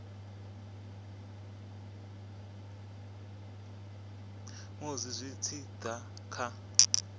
musi zwi tshi da kha